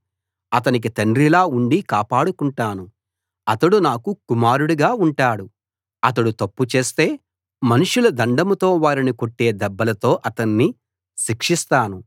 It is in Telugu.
అతనికి తండ్రిలా ఉండి కాపాడుకుంటాను అతడు నాకు కుమారుడుగా ఉంటాడు అతడు తప్పు చేస్తే మనుషుల దండంతో వారిని కొట్టే దెబ్బలతో అతణ్ణి శిక్షిస్తాను